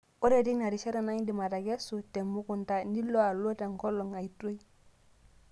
Ore teina rishata naa ndim atekesu temukunta nilo alo tenkolong' aitoi.